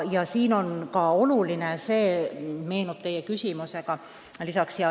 Üks asi on veel oluline, see meenub mulle teie küsimuse peale.